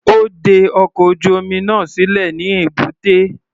Ó de ọkọ̀ ojú-omi náà sílẹ̀ ní èbúté.